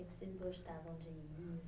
O que vocês gostavam de ir